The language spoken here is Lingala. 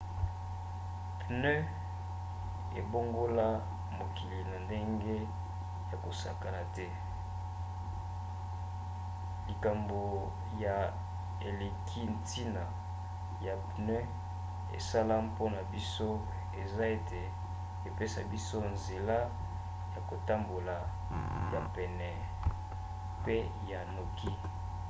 pneu ebongola mokili na ndenge ya kosakana te. likambo ya eleki ntina ya pneu esala mpona biso eza ete epesa biso nzela ya kotambola ya pene pe ya noki